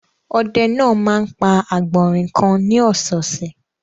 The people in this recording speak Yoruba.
Ọdẹ náà máa ń pa àgbọ̀rìn kan ní ọ̀sẹ̀ẹ̀sẹ̀.